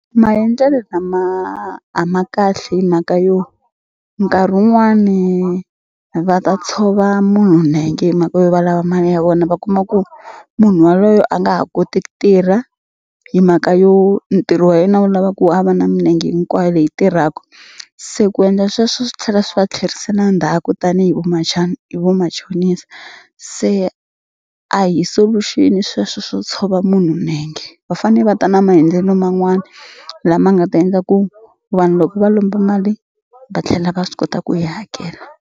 Maendlelo lama a ma kahle hi mhaka yo nkarhi wun'wani va ta tshova munhu nenge himhaka yo valava mali ya vona va kuma ku munhu waloye a nga ha koti ku tirha himhaka yo ntirho wa yena wu lava ku a va na minenge hinkwayo leyi tirhaku se ku endla sweswo swi tlhela swi va tlherisela ndzhaku tanihi hi vamachonisa se a hi solution sweswo swo tshova munhu nenge va fane va ta na maendlelo man'wani lama nga ta endla ku vanhu loko va lomba mali va tlhela va swi kota ku yi hakela.